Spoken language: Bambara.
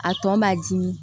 A tɔ b'a dimi